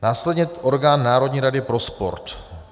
Následně orgán národní rady pro sport.